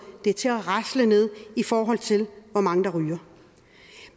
det til at rasle ned i forhold til hvor mange der ryger